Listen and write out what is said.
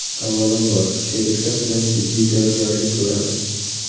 Avvalambor, sheriklar bilan jiddiy tayyorgarlik ko‘ramiz.